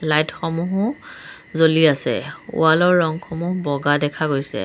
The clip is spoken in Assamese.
লাইট সমূহো জ্বলি আছে ৱাল ৰ ৰংসমূহ বগা দেখা গৈছে।